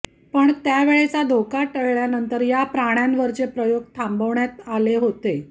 पण त्यावेळचा धोका टळल्यानंतर या प्राण्यांवरचे प्रयोग थांबवण्यात आले होते